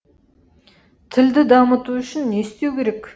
тілді дамыту үшін не істеу керек